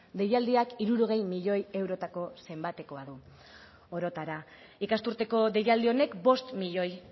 deialdiak hirurogei milioi eurotako zenbatekoa du orotara ikasturteko deialdi honek bost milioi